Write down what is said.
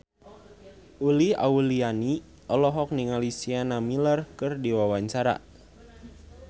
Uli Auliani olohok ningali Sienna Miller keur diwawancara